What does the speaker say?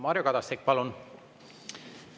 Mario Kadastik, palun!